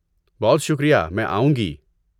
بہت شکریہ! میں آؤں گی۔